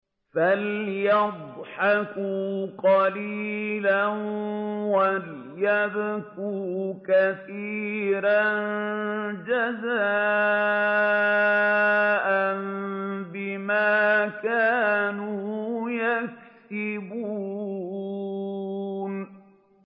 فَلْيَضْحَكُوا قَلِيلًا وَلْيَبْكُوا كَثِيرًا جَزَاءً بِمَا كَانُوا يَكْسِبُونَ